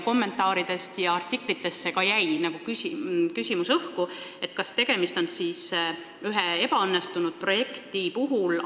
Kommentaaridest ja artiklitest jäi ka õhku küsimus, kas tegemist on ametniku vastutuse võtmisega ühe ebaõnnestunud projekti puhul.